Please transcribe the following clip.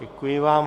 Děkuji vám.